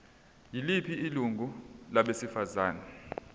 yiliphi ilungu labasebenzi